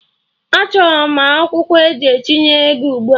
Achọrọ m akwụkwọ eji etinye ego ugbua!